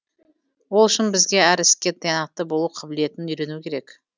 ол үшін бізге әр іске тиянақты болу қабілетін үйрену керек